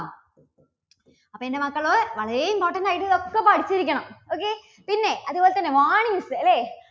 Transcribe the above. അപ്പോ എൻറെ മക്കള് വളരെ important ആയിട്ട് ഇതൊക്കെ പഠിച്ചിരിക്കണം. okay പിന്നെ അതുപോലെതന്നെ warnings അല്ലേ?